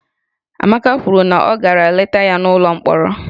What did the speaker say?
Amaka kwuru na ọ gara leta ya n'ụlọ mkpọrọ